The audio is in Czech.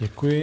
Děkuji.